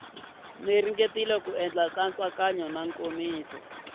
ringetile ku endla nkatsakanyo nkomiso